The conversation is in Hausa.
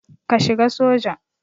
Ka shiga soja.